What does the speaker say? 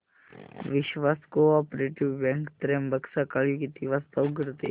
विश्वास cooperative bank Trimbak सकाळी किती वाजता उघडते